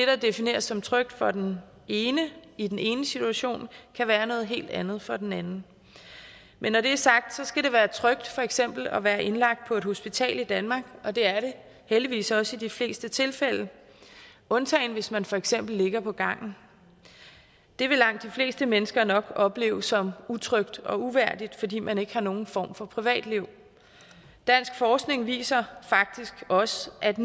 der defineres som trygt for den ene i den enes situation kan være noget helt andet for den anden men når det er sagt skal det være trygt for eksempel at være indlagt på et hospital i danmark og det er det heldigvis også i de fleste tilfælde undtagen hvis man for eksempel ligger på gangen det vil langt de fleste mennesker nok opleve som utrygt og uværdigt fordi man ikke har nogen form for privatliv dansk forskning viser faktisk også at